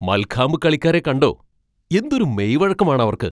മൽഖാംബ് കളിക്കാരെ കണ്ടോ? എന്തൊരു മെയ്വഴക്കം ആണ് അവർക്ക്!